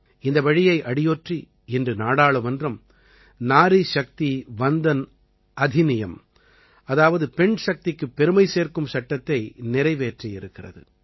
இந்த வழியை அடியொற்றி இன்று நாடாளுமன்றம் நாரீ சக்தி வந்தன் அதிநியம் அதாவது பெண்சக்திக்குப் பெருமை சேர்க்கும் சட்டத்தை நிறைவேற்றியிருக்கிறது